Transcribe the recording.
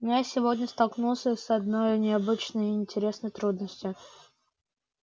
но я сегодня столкнулся с одной необычной и интересной трудностью